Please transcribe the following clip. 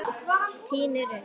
Ég tíni rusl.